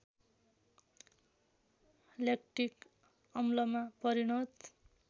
lactic अम्लमा परिणत